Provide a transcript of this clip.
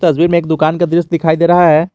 तस्वीर में एक दुकान का दृश्य दिखाई दे रहा है।